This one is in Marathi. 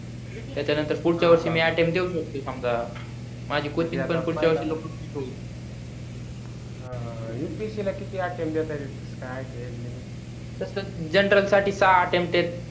त्याच्या नंतर पुढच्या वर्षी मी attempt देऊ शकते समजा माझी Cochin पण पुडच्या वर्षी लवकर हा upsc ला किती attempt देतता येते कस काय आहे age limit तस general साठी सहा attempt आहेत